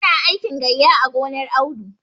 Su na aikin gayya a gonar Audu.